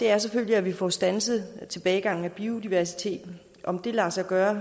er selvfølgelig at vi får standset tilbagegangen i biodiversiteten om det lader sig gøre